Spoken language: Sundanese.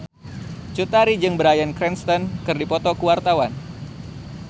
Cut Tari jeung Bryan Cranston keur dipoto ku wartawan